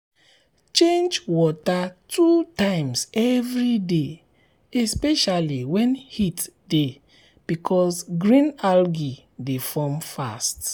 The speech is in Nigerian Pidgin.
change water two times every day especially when heat dey because green algae dey form fast.